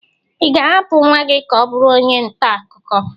Ị ga-ahapụ nwa gị ka ọ bụrụ onye nta akụkọ?